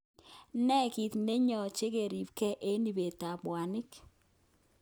Ne kit neyoche keribenge eng ibet tab mwanik?